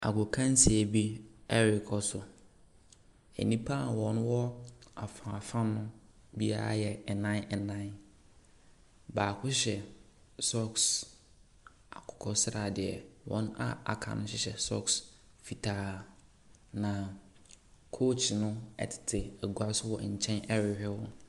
Agokansie bi ɛrekɔ so, nnipa wɔwɔ afaafa no biara yɛ nnan nnan. Baako hyɛ socks akokɔsradeɛ, wɔn a aka no hyehyɛ socks fitaa, na coach no ɛtete egua so wɔ nkyɛn ɛrehwɛ wɔn.